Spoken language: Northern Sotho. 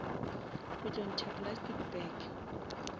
o tlo ntšha plastic bag